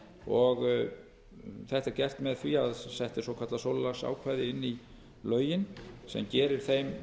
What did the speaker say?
þetta er gert með því að sett er svokallað sólarlagsákvæði inn í lögin sem gerir þeim